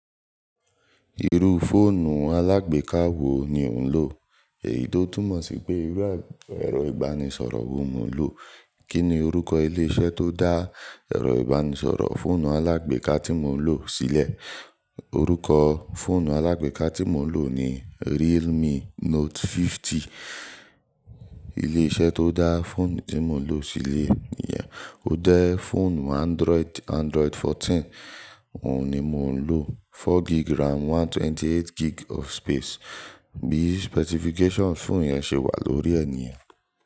Irú fóònù alágbèká wo ni ò ń lò? Èyí tó túmọ̀ sí pé irú ẹ̀rọ ìbánisọ̀rọ̀ wo mo ń lò. Kí ni orúkọ ilé-iṣẹ́ tó dá ẹ̀rọ ìbánisọ̀rọ̀ fóònù alágbèká tí mo ń lò sílẹ̀? Orúkọ fóònù alágbèká tí mo ń lò ni Realme Note 50. Ilé-iṣẹ́ tó dá fóònù tí mo ń lò sílẹ̀ níyẹn. Ó jẹ́ fóònù Android, Android 14 òun ni mo ń lò. 4 gig RAM, 128 gig of space. Bí specification fóònù yẹn ṣe wà lórí ẹni ẹ̀ niyen.